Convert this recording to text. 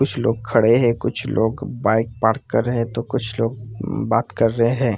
कुछ लोग खड़े है कुछ लोग बाइक पार्क कर रहे हैं तो कुछ लोग बात कर रहे है।